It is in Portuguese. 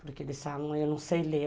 Porque eles falam, eu não sei ler.